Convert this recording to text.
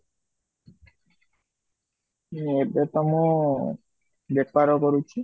ମୁଁ ଏବେ ତା ମୁଁ ବେପାର କରୁଛି